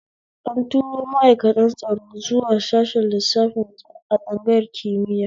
An turo ma'aikatan tsaro zuwa sashen lissafi a tsangayar kimiya